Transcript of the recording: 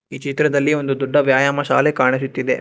ಈ ಚಿತ್ರದಲ್ಲಿ ಒಂದು ದೊಡ್ಡ ವ್ಯಾಯಾಮ ಶಾಲೆ ಕಾಣಿಸುತ್ತಿದೆ.